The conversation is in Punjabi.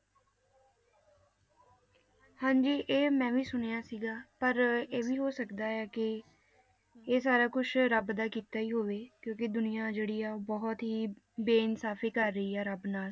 ਹਾਂਜੀ ਇਹ ਮੈਂ ਵੀ ਸੁਣਿਆ ਸੀਗਾ, ਪਰ ਇਹ ਵੀ ਹੋ ਸਕਦਾ ਹੈ ਕਿ ਇਹ ਸਾਰਾ ਕੁਛ ਰੱਬ ਦਾ ਕੀਤਾ ਹੀ ਹੋਵੇ, ਕਿਉਂਕਿ ਦੁਨੀਆਂ ਜਿਹੜੀ ਆ, ਉਹ ਬਹੁਤ ਹੀ ਬੇਇਨਸਾਫ਼ੀ ਕਰ ਰਹੀ ਆ ਰੱਬ ਨਾਲ,